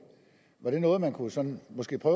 var det noget man sådan måske kunne